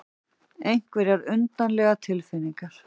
Einhverjar undarlegar tilfinningar.